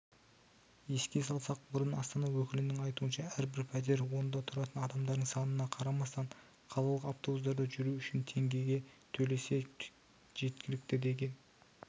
еске салсақ бұрын астана өкілінің айтуынша әрбір пәтер онда тұратын адамдардың санына қарамастан қалалық автобустарда жүру үшін теңге төлесе жеткілікті деген